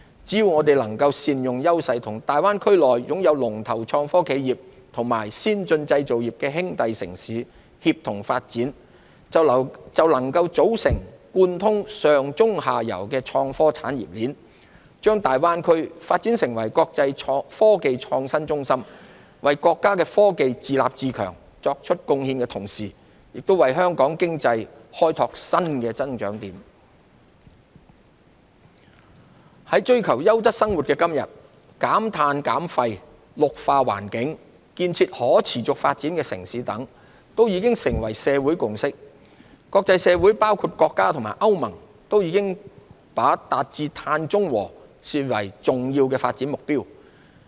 只要我們能夠善用優勢，與大灣區內擁有龍頭創科企業和先進製造業的兄弟城市協同發展，便能組成貫通上、中、下游的創科產業鏈，將大灣區發展成為國際科技創新中心，為國家的科技自立自強作出貢獻的同時，也為香港經濟開拓新增長點。在追求優質生活的今天，減碳減廢、綠化環境、建設可持續發展的城市等，都已成為社會共識。國際社會包括國家和歐盟都已把達至碳中和視為重要發展目標。